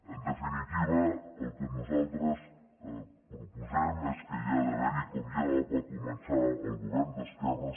en definitiva el que nosaltres proposem és que hi ha d’haver com ja va començar el govern d’esquerres